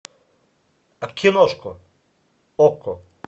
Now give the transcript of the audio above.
киношку окко